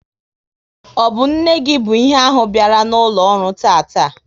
Ọ bụ nne gị bụ ihe ahụ biala n'ụlọ ọrụ tataa?